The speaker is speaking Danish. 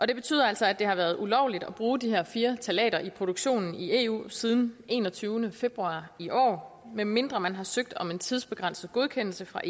det betyder altså at det har været ulovligt at bruge de her fire ftalater i produktionen i eu siden den enogtyvende februar i år medmindre man har søgt om en tidsbegrænset godkendelse fra